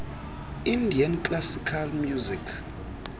indian classical music